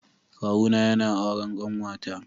Kawuna yana auren kanwata.